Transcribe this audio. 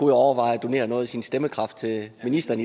overveje at donere noget af sin stemmekraft til ministeren